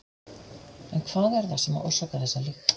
En hvað er það sem orsakar þessa lykt?